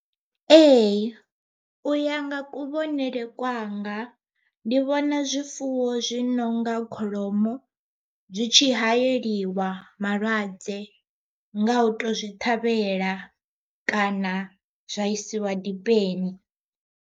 Ee u ya nga kuvhonele kwanga ndi vhona zwifuwo zwi nonga kholomo, zwi tshi hayeliwa malwadze nga u to zwi ṱhavhela kana zwa isiwa dipeni.